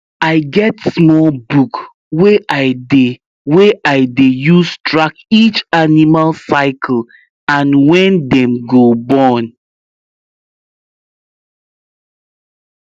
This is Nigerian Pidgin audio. i get small book wey i dey wey i dey use track each animal cycle and when dem go born